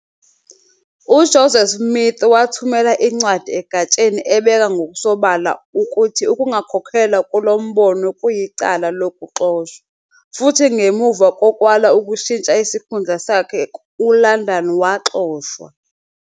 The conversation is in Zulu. "UJoseph Smith wathumela incwadi egatsheni ebeka ngokusobala ukuthi ukungakholelwa kulo Mbono kwakuyicala lokuxoshwa, futhi ngemuva kokwala ukushintsha isikhundla sakhe uLandon waxoshwa.